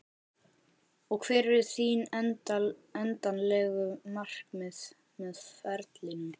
Og hver eru þín endanlegu markmið með ferlinum?